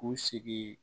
U sigi